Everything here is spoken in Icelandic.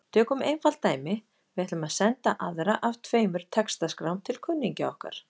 Tökum einfalt dæmi: Við ætlum að senda aðra af tveimur textaskrám til kunningja okkar.